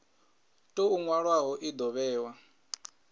tou nwalwaho i do vhewa